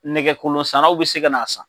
Nɛgɛkolon sann'aw bi se ka na san